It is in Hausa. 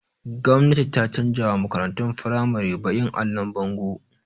Gwamnati ta canza wa makaratun firamari baƙin allon bango